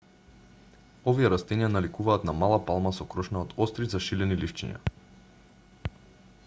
овие растенија наликуваат на мала палма со крошна од остри зашилени ливчиња